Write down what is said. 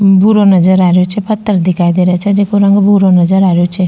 भूरो नजर आ रेहो छे पत्थर दिखाई दे रा छे जेको रंग भूरो नजर आ रेहो छे।